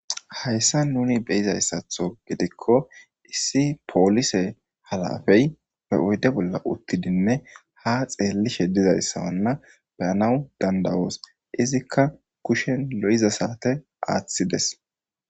Hayissan nuni beyizayissaththo gidikko polissey oyidde bolla utidi ha xelishshe dizayissa nuni beyos izikka kushen lo"iza sate aththides